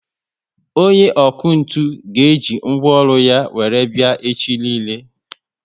Onye ọkụ ntụ ga eji ngwaọrụ ya were bia echi niile